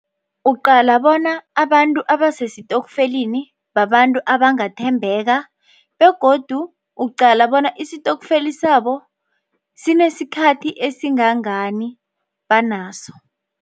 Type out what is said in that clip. Uqala bona abantu abasesitokfeleni babantu abangathembeka begodu uqala bona isitokfeli sabo sinesikhathi esingangani banaso.